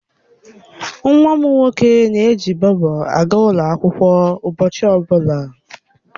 Nwa m nwoke na-eji Bobo aga ụlọ akwụkwọ ụbọchị ọbụla.